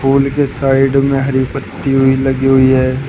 Full के side में हरी पत्ती भी लगी हुई हैं।